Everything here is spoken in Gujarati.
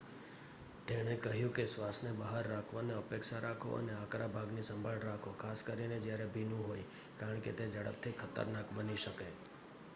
તેણે કહ્યું કે શ્વાસને બહાર રાખવાની અપેક્ષા રાખો અને આકરા ભાગની સંભાળ રાખો ખાસ કરીને જ્યારે ભીનું હોય કારણ કે તે ઝડપથી ખતરનાક બની શકે